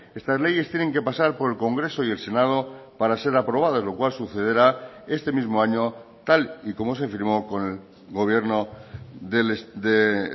estas leyes tienen que pasar por el congreso y el senado para ser aprobadas lo cual sucederá este mismo año tal y como se firmó con el gobierno de